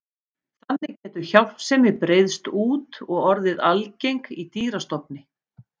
Þannig getur hjálpsemi breiðst út og orðið algeng í dýrastofni.